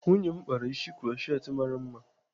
Nwunye m kpara isi krutchet mara mma.